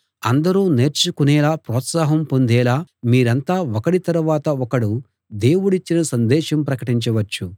అందరూ నేర్చుకొనేలా ప్రోత్సాహం పొందేలా మీరంతా ఒకడి తరవాత ఒకడు దేవుడిచ్చిన సందేశం ప్రకటించ వచ్చు